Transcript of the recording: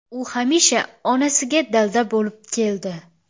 U hamisha onasiga dalda bo‘lib keldi.